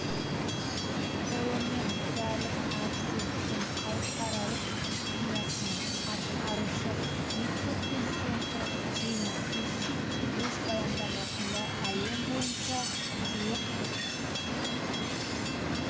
қолымен куәлік табыс еткен халықаралық компаниясының атқарушы вице-президенті джино усси өз баяндамасында әлем бойынша жуық